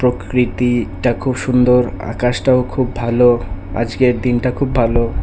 প্রকৃতিটা খুব সুন্দর আকাশটাও খুব ভালো আজকের দিনটা খুব ভালো।